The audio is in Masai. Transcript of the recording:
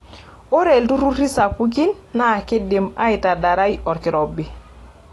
Ore iltururi sapukin naa keidim aitadarrai olkirobi.